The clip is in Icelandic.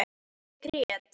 Ég grét.